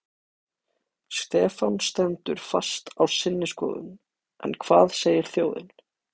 Stefán stendur fast á sinni skoðun en hvað segir þjóðin?